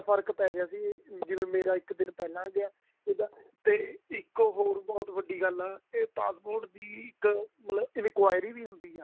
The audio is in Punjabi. ਫਰਕ ਪੈ ਗਿਆ ਸੀ ਜਦ ਮੇਰਾ ਇੱਕ ਦਿਨ ਪਹਿਲਾ ਗਿਆ ਇਹਦਾ ਇੱਕ ਹੋਰ ਬਹੁਤ ਵੱਡੀ ਗੱਲ ਆ passport ਦੀ ਇੱਕ ਮਤਲਬ enquiry ਵੀ ਹੁੰਦੀ ਆ